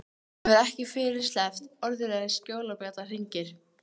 Hann hefur ekki fyrr sleppt orðinu en skólabjallan hringir.